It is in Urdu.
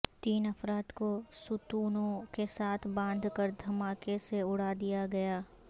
تین افراد کو ستونوں کے ساتھ باندھ کر دھماکے سے اڑا دیاگیا